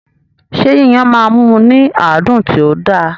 Ṣé Yíyan máa mú ní àádùn tí ó da?